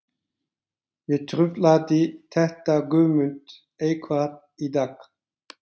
En truflaði þetta Guðmund eitthvað í dag?